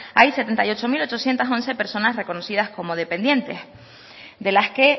hay setenta y ocho mil ochocientos once personas reconocidas como dependientes de las que